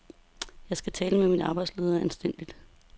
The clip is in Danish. Jeg skal tiltale min arbejdsleder anstændigt.